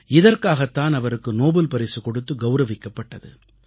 இதற்காகத் தான் அவருக்கு நோபல் பரிசு கொடுத்து கௌரவிக்கப்பட்டது